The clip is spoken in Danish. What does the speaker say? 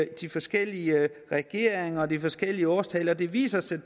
de forskellige regeringer og de forskellige årstal og det viser sig at